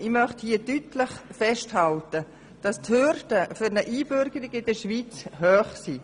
Ich möchte hier deutlich festhalten, dass die Hürden für eine Einbürgerung in der Schweiz hoch sind.